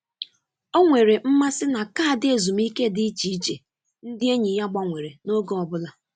Ọ nwere mmasị na kaadị ezumike dị iche iche ndị enyi ya gbanwere n’oge ọ bụla.